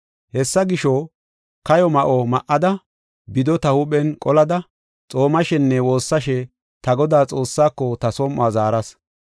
Hessa gisho, kayo ma7o ma7ada, bido ta huuphen qolada, xoomashenne woossashe ta Godaa Xoossaako ta som7uwa zaaras.